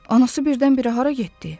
Anası birdən-birə hara getdi?